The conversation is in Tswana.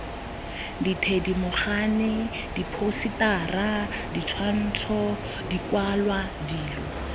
dithedimogane diphousetara ditshwantsho dikwalwa dilo